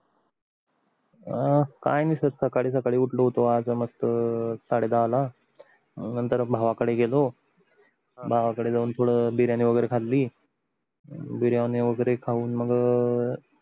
काय नाही सकाळी सकाळी उठलो होतो आज मस्त साडे दहाला नंतर भावाकडे गेलो भावाकड जाऊन थोड बिर्याणी वगेरे खाल्ली बिर्याणी वगेर खाऊन मग